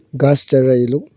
घास चर रहा है इ लोग--